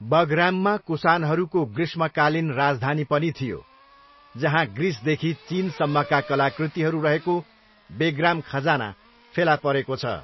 बगराममा कुसानहरूको ग्रीष्मकालीन राजधानी पनि थियो, जहाँ ग्रिसदेखि चिनसम्मका कलाकृतिहरू रहेको 'बेग्राम खजाना' फेला परेको छ।